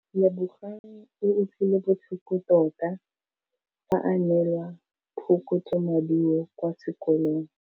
Lebogang o utlwile botlhoko tota fa a neelwa phokotsômaduô kwa sekolong.